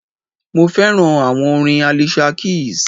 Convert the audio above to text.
Mo fẹ́ràn àwọn orin Alicia Keys.